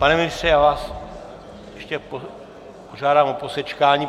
Pane ministře, já vás ještě požádám o posečkání.